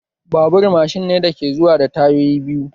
Babur macine ne dake zuwa da tayoyi biyu